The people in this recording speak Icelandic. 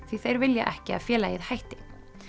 því þeir vilja ekki að félagið hætti